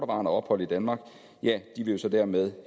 ophold i danmark vil jo så dermed